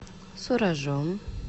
суражом